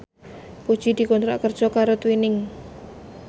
Puji dikontrak kerja karo Twinings